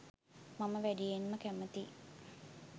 මම වැඩියෙන්ම කැමති